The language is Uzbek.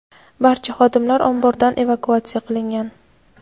barcha xodimlar ombordan evakuatsiya qilingan.